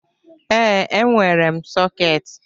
Ee, e nwere m sọketị.